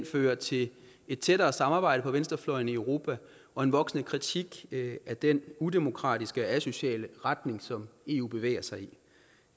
fører til et tættere samarbejde på venstrefløjen i europa og en voksende kritik af den udemokratiske og asociale retning som eu bevæger sig